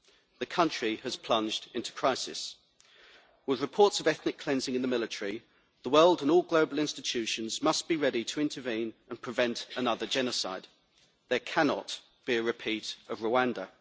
Burundi has plunged into crisis. With reports of ethnic cleansing in the military, the world and all global institutions must be ready to intervene and prevent another genocide. There cannot be a repeat of Rwanda.